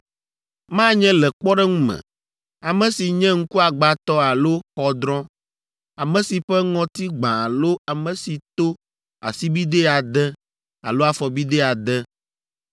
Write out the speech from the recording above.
Manye le kpɔɖeŋu me, ame si nye ŋkuagbãtɔ alo xɔdrɔ̃, ame si ƒe ŋɔti gbã alo ame si to asibidɛ ade alo afɔbidɛ ade,